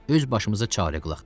Öz başımıza çarə qılaq.